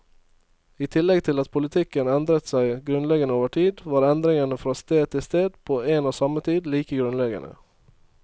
I tillegg til at politikken endret seg grunnleggende over tid, var endringene fra sted til sted på en og samme tid like grunnleggende.